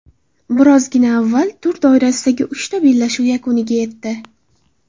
Birozgina avval tur doirasidagi uchta bellashuv yakuniga yetdi.